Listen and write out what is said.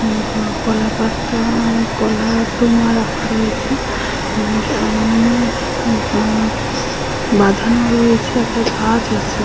উ গ কলাপাতা-আ কলার টোঙা রাখা রয়েছে। উ সামনে বাঁ বাঁধানো রয়েছে একটা গাছ আছে।